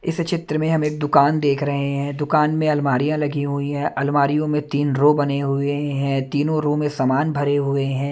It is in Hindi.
इस चित्र में हम एक दुकान देख रहे हैं दुकान में अलमारियां लगी हुई हैं अलमारियों में तीन रो बने हुए हैं तीनों रो में सामान भरे हुए हैं।